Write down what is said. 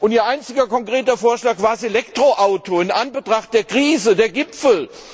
Ihr einziger konkreter Vorschlag war das Elektroauto in Anbetracht der Krise, der Gipfel!